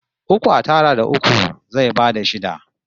Uku a tara da uku zai bada shida